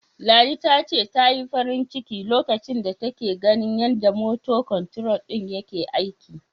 Ladi ta ce, ta yi farin ciki lokacin da take ganin yanda "motor control" din yake aiki.